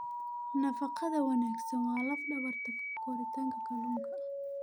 Nafaqada wanaagsan waa laf dhabarta koritaanka kalluunka.